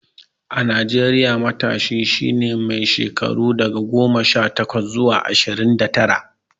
A Najeriya, matashi shi ne mai shekaru daga goma sha takwas zuwa ashirin da tara.